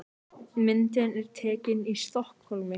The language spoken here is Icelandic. Myndin er tekin í Stokkhólmi.